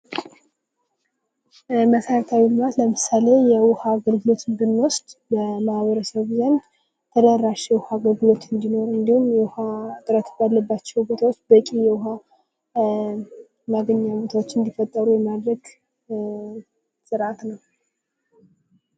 መሰረተ ልማት ለምሳሌ የዉሃ አገልልጎትን ብንወስድ በማህበረሰቡ ዘንድ ተደራሽ የውሃ አገልግሎት እንዲኖር እንዲሁም የውሀ እጥረት ባሉባቸው አካባቢዎች በቂ የዉሀ አገልግሎቶች እንዲፈጠሩ የማድረግ ስርዓት ነው።